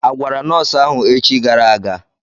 Agwara nọọsụ ahụ echi gara aga?